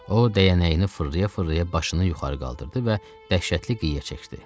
O, dəyənəyini fırlaya-fırlaya başını yuxarı qaldırdı və dəhşətli qığıya çəkdi.